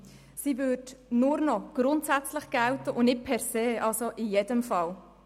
Die Teilnahme am sozialen Leben würde nur noch grundsätzlich gelten und nicht per se, also in jedem Fall.